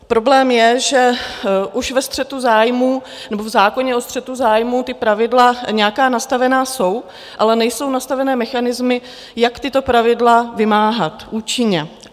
Problém je, že už ve střetu zájmů, nebo v zákoně o střetu zájmů ta pravidla nějaká nastavena jsou, ale nejsou nastaveny mechanismy, jak tato pravidla vymáhat účinně.